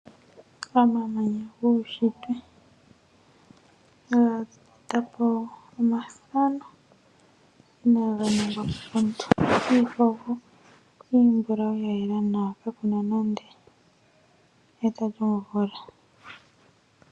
Omamanya guushitwe haga eta po omathano inaga ningwa komuntu. Iikogo iimbulawu ya yela nawa ka ku na nando eta lyomvula.